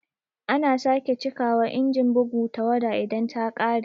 Ana sake cika wa Inajin bugu tawada idan ta ƙare